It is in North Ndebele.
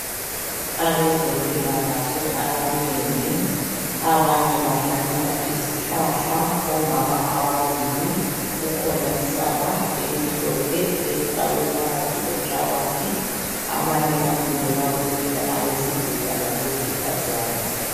Abezempilakahle abanengi, abanye bahlanyela izihlahla omama ababili. Kukhona isaka elimhlophe elifakwe phakathi kwenhlabathi. Abanye bamile babukele, abesilisa labesifazana.